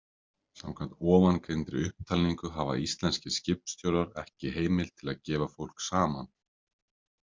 Samkvæmt ofangreindri upptalningu hafa íslenskir skipstjórar ekki heimild til að gefa fólk saman.